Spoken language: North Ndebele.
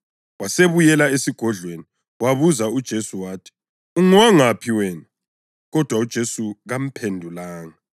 wasebuyela esigodlweni. Wabuza uJesu wathi, “Ungowangaphi wena?” Kodwa uJesu kamphendulanga.